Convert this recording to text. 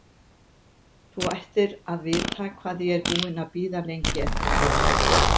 Þú ættir að vita hvað ég er búinn að bíða lengi eftir þér!